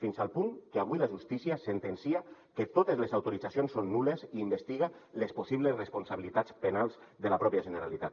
fins al punt que avui la justícia sentencia que totes les autoritzacions són nul·les i investiga les possibles responsabilitats penals de la pròpia generalitat